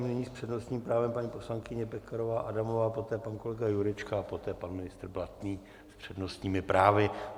Nyní s přednostním právem paní poslankyně Pekarová Adamová, poté pan kolega Jurečka a poté pan ministr Blatný s přednostními právy.